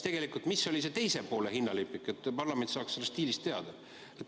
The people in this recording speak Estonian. Ja milline oli teise poole hinnalipik, et parlament ei saaks sellest diilist teada?